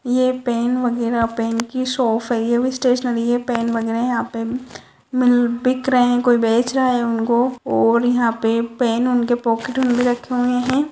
ये पेन वगेरा पेन की शॉप है स्टेशनरी है ये पेन वगेरा यहाँ पे मिल बिक रहे है कोई बेच रहा है उनको और यहाँ पे पेन उनकी पॉकेट में रखे हुवे है।